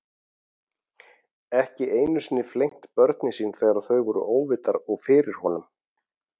Ekki einu sinni flengt börnin sín þegar þau voru óvitar og fyrir honum.